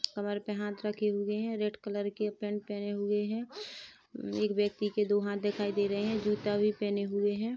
कमर पे हाथ रखे हुए है रेड कलर के पेंट पहने हुए है एक व्यक्ति के दो हाथ दिखाई दे रहे है जूता भी पहने हुए है।